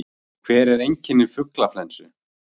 Hver eru einkenni fuglaflensu?